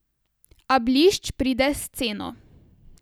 A blišč pride s ceno.